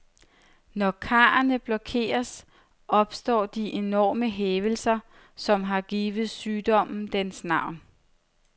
Når karrene blokeres, opstår de enorme hævelser, der har givet sygdommen dens navn.